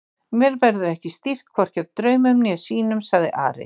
Mér verður ekki stýrt hvorki af draumum né sýnum, sagði Ari.